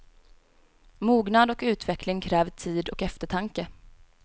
Mognad och utveckling kräver tid och eftertanke.